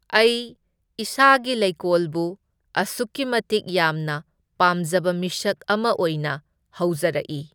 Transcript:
ꯑꯩ ꯏꯁꯥꯁꯤ ꯂꯩꯀꯣꯜꯕꯨ ꯑꯁꯨꯛꯀꯤ ꯃꯇꯤꯛ ꯌꯥꯝꯅ ꯄꯥꯝꯖꯕ ꯃꯤꯁꯛ ꯑꯃ ꯑꯣꯏꯅ ꯍꯧꯖꯔꯛꯏ꯫